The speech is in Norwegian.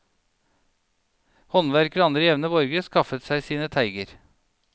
Håndverkere og andre jevne borgere skaffet seg sine teiger.